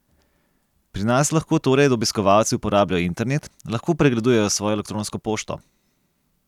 Pri nas lahko torej obiskovalci uporabljajo internet, lahko pregledujejo svojo elektronsko pošto.